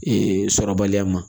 Ee sɔrɔbaliya ma